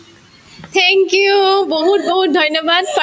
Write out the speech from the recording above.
thank you বহুত বহুত ধন্যবাদ